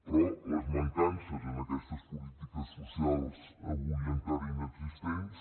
però en les mancances en aquestes polítiques socials avui encara inexistents